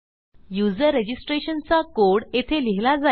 user रजिस्ट्रेशनचा code येथे लिहिला जाईल